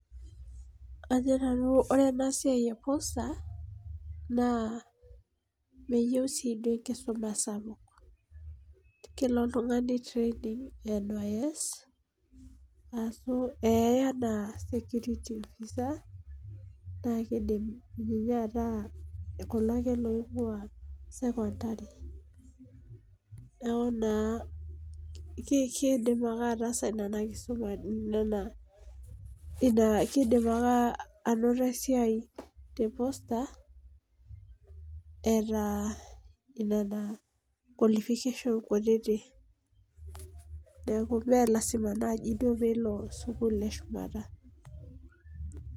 Ajo nanu ore ena siai e poster naa meyieu siiduo enkisuma sapuk, kelo oltungani training NYS ee anaa security officer naa kidim ninye ataa Kuna ake loingua sekondari, neeku naa kidim ake ataasa Nena, Ina kidim ake anoto esiai te poster eeta nena qualification kutiti. neeku ime lasima naaji duo peelo sukuul eshumata.